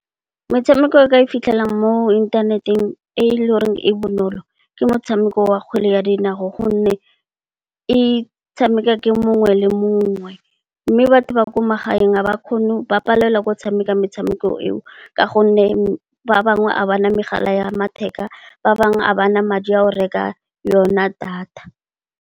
Metshameko e o ka e fitlhelang mo inthaneteng e le goreng e bonolo ke motshameko wa kgwele ya dinao. Gonne, e tshamekiwa ke mongwe le mongwe. Mme, batho ba kwa magaeng ba palelwa ke go tshameka metshameko eo ka gonne, ba bangwe ga bana megala ya matheka, ba bangwe ga ba na madi a go reka yona data.